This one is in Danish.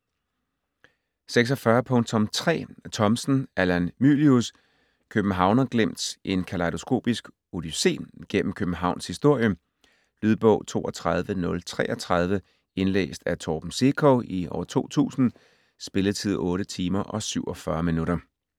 46.3 Thomsen, Allan Mylius: Københavnerglimt: en kalejdoskopisk odyssé gennem Københavns historie Lydbog 32033 Indlæst af Torben Sekov, 2000. Spilletid: 8 timer, 47 minutter.